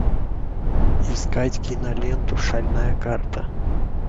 искать киноленту шальная карта